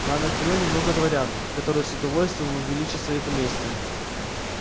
на анакреоне много дворян которые с удовольствием увеличат свои поместья